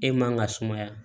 E man ka sumaya